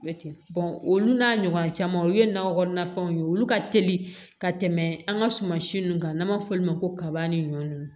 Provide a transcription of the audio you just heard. olu n'a ɲɔgɔn caman o ye nakɔ kɔnɔna fɛnw ye olu ka teli ka tɛmɛ an ka sumansi ninnu kan n'an b'a fɔ olu ma ko kaba ni ɲɔ nunnu